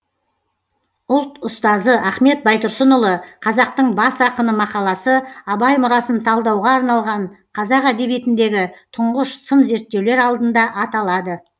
ұлт ұстазы ахмет байтұрсынұлы қазақтың бас ақыны мақаласы абай мұрасын талдауға арналған қазақ әдебиетіндегі тұңғыш сын зерттеулер алдында аталады